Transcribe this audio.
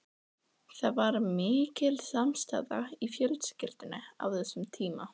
Það var mikil samstaða í fjölskyldunni á þessum tíma.